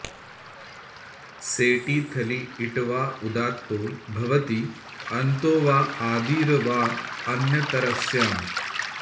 सेटि थलि इट् वा उदात्तो भवति अन्तो वा आदिर् वा अन्यतरस्याम्